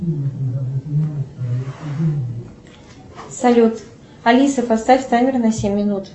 салют алиса поставь таймер на семь минут